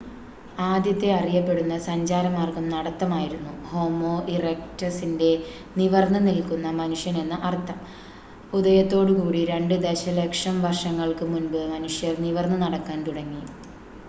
ആദ്യത്തെ അറിയപ്പെടുന്ന സഞ്ചാരമാർഗ്ഗം നടത്തം ആയിരുന്നു ഹോമോ ഇറെക്റ്റസിന്റെ നിവർന്ന് നിൽക്കുന്ന മനുഷ്യൻ എന്ന് അർത്ഥം ഉദയത്തോട് കൂടി രണ്ട് ദശലക്ഷം വർഷങ്ങൾക്ക് മുൻപ് മനുഷ്യർ നിവർന്ന് നടക്കാൻ തുടങ്ങി